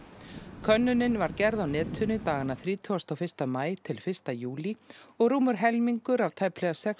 könnunin var gerð á netinu dagana þrítugasta og fyrsta maí til fyrsta júlí og rúmur helmingur af tæplega sex